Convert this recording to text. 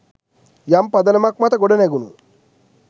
යම් පදනමක් මත ගොඩනැගුනු